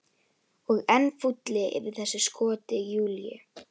Og enn fúlli yfir þessu skoti Júlíu.